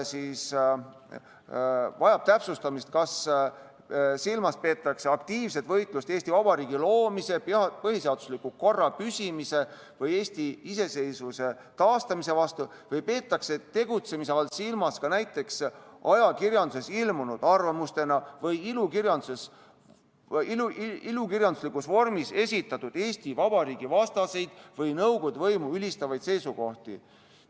vajab täpsustamist, kas silmas peetakse aktiivset võitlust Eesti Vabariigi loomise, põhiseadusliku korra püsimise või Eesti iseseisvuse taastamise vastu, või peetakse tegutsemise all silmas ka näiteks ajakirjanduses ilmunud arvamustena või ilukirjanduslikus vormis esitatud Eesti Vabariigi vastaseid või Nõukogude võimu ülistavaid seisukohti.